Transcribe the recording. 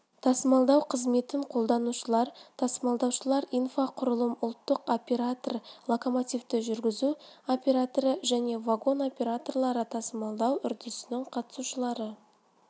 тасымалдау қызметін қолданушылар тасымалдаушылар инфрақұрылым ұлттық операторы локомотивті жүргізу операторы және вагон операторлары тасымалдау үрдісінің қатысушылары